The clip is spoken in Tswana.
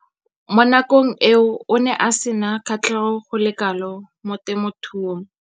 Mo nakong eo o ne a sena kgatlhego go le kalo mo temothuong.